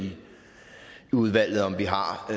i udvalget om vi har